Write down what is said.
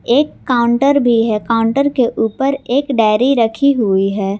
एक काउंटर भी हैं काउंटर के ऊपर एक डायरी रखी हुई है।